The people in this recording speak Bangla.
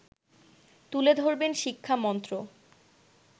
তুলে ধরবেন শিক্ষামন্ত্র